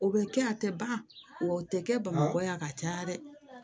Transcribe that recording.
O bɛ kɛ a tɛ ban wa o tɛ kɛ bamakɔ yan ka caya dɛ